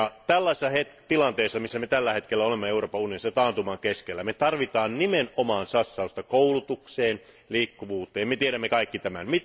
Tällaisessa tilanteessa, missä me tällä hetkellä olemme Euroopan unionissa, tässä taantuman keskellä, me tarvitsemme nimenomaan satsausta koulutukseen ja liikkuvuuteen, me tiedämme kaikki tämän.